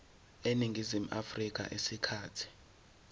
eningizimu afrika isikhathi